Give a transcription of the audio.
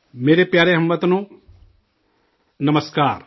میرے پیارے ہم وطنو، نمسکار